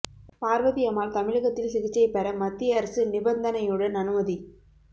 பார்வதி அம்மாள் தமிழகத்தில் சிகிச்சை பெற மத்திய அரசு நிபந்தனையுடன் அனுமதி